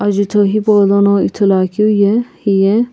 jutho Hipaulono Ithuluakeu ye hiye.